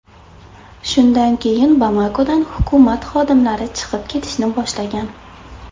Shundan keyin Bamakodan hukumat xodimlari chiqib ketishni boshlagan.